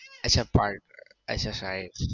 અચ્છા part અચ્છા side